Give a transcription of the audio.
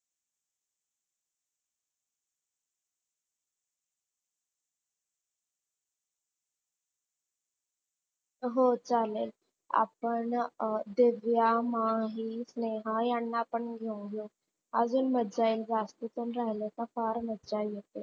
हो चालेल आपण दिव्या, माही, नेहा ह्यांना पण घेऊन जाऊ अजून मज्जा येईल जास्ती पण राहिले तर फार मज्जा येते.